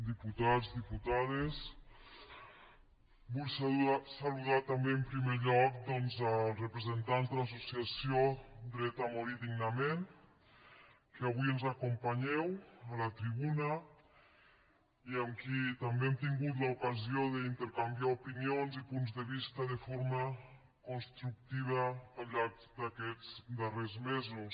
diputats diputades vull saludar també en primer lloc doncs els representants de l’associació dret a morir dignament que avui ens acompanyeu a la tribuna i amb qui també hem tingut l’ocasió d’intercanviar opinions i punts de vista de forma constructiva al llarg d’aquests darrers mesos